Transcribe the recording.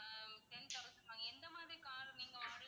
ஆஹ் ten thousand எந்த மாதிரி car நீங்க வாடகைக்கு